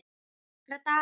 Bara nokkra daga.